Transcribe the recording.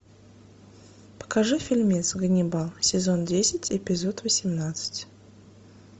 покажи фильмец ганнибал сезон десять эпизод восемнадцать